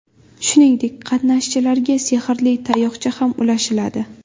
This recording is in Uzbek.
Shuningdek, qatnashchilarga sehrli tayoqcha ham ulashiladi.